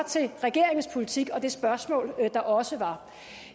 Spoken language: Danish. til regeringens politik og det spørgsmål der også var